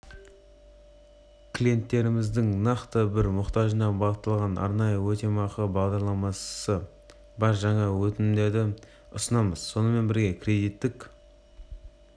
клиенттеріміздің нақты бір мұқтажына бағытталған арнайы өтемақы бағдарламасы бар жаңа өнімдерді ұсынамыз сонымен бірге кредиттік